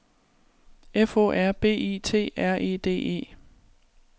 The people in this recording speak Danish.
F O R B I T R E D E